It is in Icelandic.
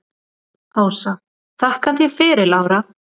Ása: Þakka þér fyrir Lára.